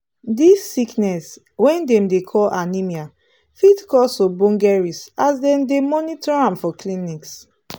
this sickness wey dem dey call anemia fit cause ogboge risk as dem dey monitor am for clinics